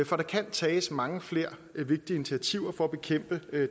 for der kan tages mange flere vigtige initiativer for at bekæmpe